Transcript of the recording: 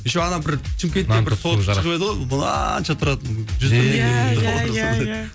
еще ана бір шымкетте бір торт шығып еді ғой мынанша тұратын